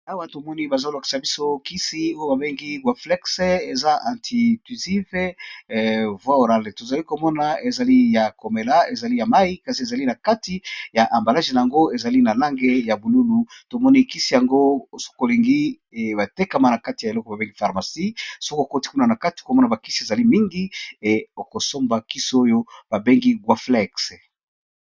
Awa, tomoni bazolakisa biso kisi oyo babengi guaflex, eza anti grip. Tozali komona ezali ya komela, ezali ya mai. Kisi yango, ezali na kati ya ambalage na yango, ezali na langi ya bululu. Tomoni kisi yango soki olingi, etekamaka na epayì babengi pharmacie. Soki okoti kuna na kati, okomona bakisi ezali mingi. Okosomba kisi oyo babengi guaflex.